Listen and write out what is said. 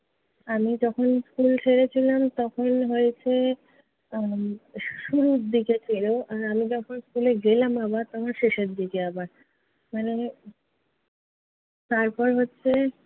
আমি যখন school ছেড়েছিলাম তখন হয়েছে আহ শুরুর দিকে ছিলো। আর আমি যখন school গেলাম আবার তখন শেষের দিকে আবার। মানে